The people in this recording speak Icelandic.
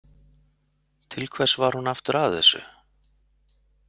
Til hvers var hún aftur að þessu?